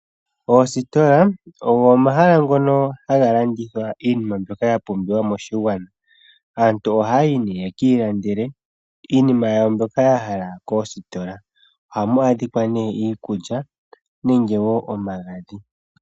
Oositola ogo omahala ngono haga landithwa iinima mbyoka yapumbiwa moshigwana aantu ohaayi nee yekiilandile iinima yawo mbyoka yahala yekiilandele koositola. Ohamu adhikwa nee iikulya nenge woo omagadhi.